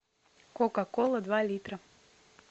кока кола два литра